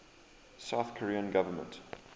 south korean government